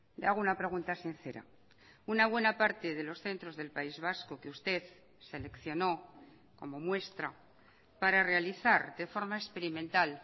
le hago una pregunta sincera una buena parte de los centros del país vasco que usted seleccionó como muestra para realizar de forma experimental